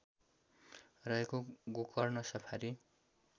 रहेको गोकर्ण सफारी